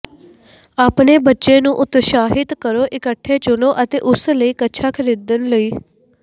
ਆਪਣੇ ਬੱਚੇ ਨੂੰ ਉਤਸ਼ਾਹਿਤ ਕਰੋ ਇਕੱਠੇ ਚੁਣੋ ਅਤੇ ਉਸ ਲਈ ਕੱਛਾ ਖਰੀਦਣ ਲਈ